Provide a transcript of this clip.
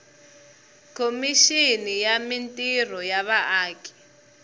khomixini ya mintirho ya vaaki